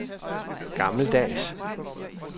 gammeldags